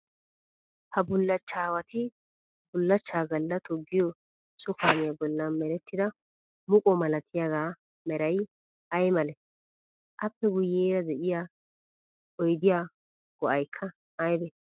Ha bullachchawati bullachchaa Galla toggiyoo so kaamiya bollan merettida muqo malatyagaa meray ayi malee? Aappe guyyeera diya oyidiya go'ayikka ayibee?